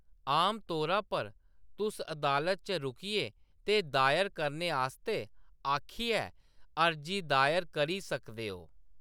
आमतौरा पर, तुस अदालत च रुकियै ते दायर करने आस्तै आखियै अर्जी दायर करी सकदे ओ।